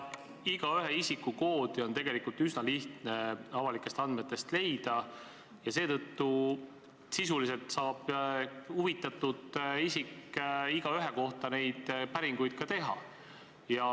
Igaühe isikukoodi on tegelikult üsna lihtne avalikest andmetest leida ja seetõttu saab huvitatud isik igaühe kohta neid päringuid teha.